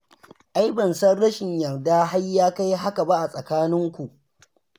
Ai ban san rashin yarda har ya kai haka ba a tsakaninku.